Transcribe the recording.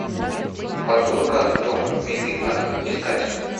подборка дом милый ад искать